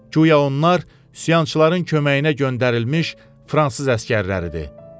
Guya onlar üsyançıların köməyinə göndərilmiş fransız əsgərləridir.